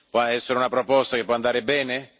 Può essere una proposta che può andare bene?